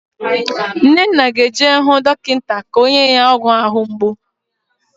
Nnenna ga-eje hụ dọkịta ka o nye ya ọgwụ ahụ mgbu